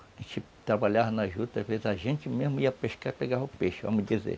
A gente trabalhava na juta, às vezes a gente mesmo ia pescar e pegava o peixe, vamos dizer.